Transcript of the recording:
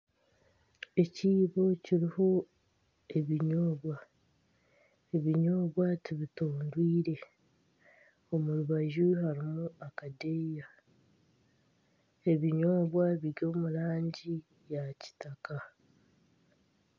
Ekiibo kiriho ebinyobwa, ebinyobwa tibitondwire omu rubaju harimu akadeeya ebinyobwa biri omu rangi eya kitaka